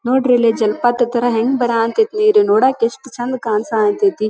ನೊಡ್ರಿಲ್ಲಿ ಜಲಪಾತ ತರ ಹೆಂಗ್ ಬರಕತತ ನೀರು ನೋಡಕ್ಕೆ ಎಷ್ಟು ಚಂದ್ ಕಾಣ್ಸಕತಥಿ.